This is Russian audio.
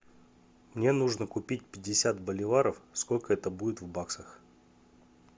мне нужно купить пятьдесят боливаров сколько это будет в баксах